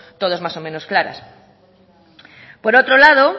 todos más o menos claras por otro lado